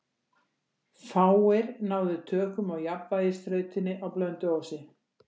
Fáir náðu tökum á jafnvægisþrautinni á Blönduósi.